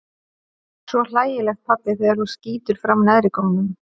Svo hlægilegt pabbi þegar þú skýtur fram neðrigómnum.